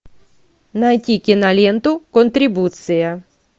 найти киноленту контрибуция